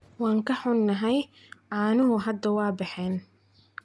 Waan ka xunnahay, caanuhu hadda waa baxeen.